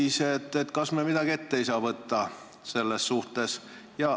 Kas me ei saa selles suhtes midagi ette võtta?